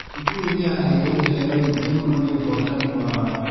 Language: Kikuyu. Cukuru nĩyaheirwo iheo nyingĩ mũno nĩ ũhotani wao.